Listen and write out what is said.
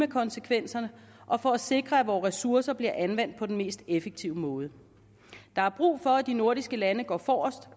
konsekvenser og for at sikre at vore ressourcer bliver anvendt på den mest effektive måde der er brug for at de nordiske lande går forrest